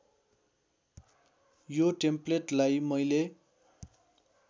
यो टेम्पलेटलाई मैले